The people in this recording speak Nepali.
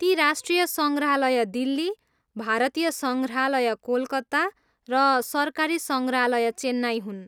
ती राष्ट्रिय सङ्ग्रहालय दिल्ली, भारतीय सङ्ग्रहालय कोलकाता र सरकारी सङ्ग्रहालय चेन्नाई हुन्।